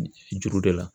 Juru de la